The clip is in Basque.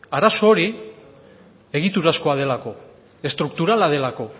arazo hori egiturazkoa delako estrukturala delako